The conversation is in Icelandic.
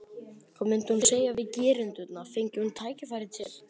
Hvað myndi hún segja við gerendurna, fengi hún tækifæri til?